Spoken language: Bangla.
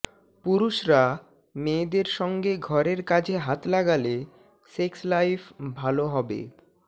পুরুষরা মেয়েদের সঙ্গে ঘরের কাজে হাত লাগালে সেক্স লাইফ ভাল হবে